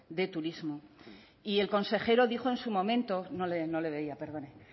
de turismo y el consejero dijo en su momento no le veía perdone